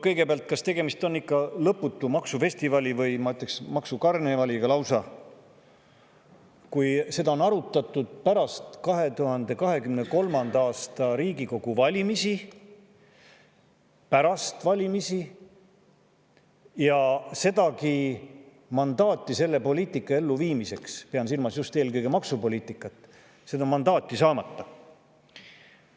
Kõigepealt, kas tegemist on ikka lõputu maksufestivali või, ma ütleksin, maksukarnevaliga lausa, kui seda on arutatud pärast 2023. aasta Riigikogu valimisi – pärast valimisi – ja sedagi mandaati selle poliitika elluviimiseks – pean silmas just eelkõige maksupoliitikat – saamata.